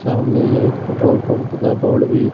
सामने एक petrol pump का बोर्ड भी--